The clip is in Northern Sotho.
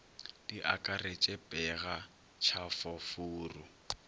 di akaretše pega tšhafo furu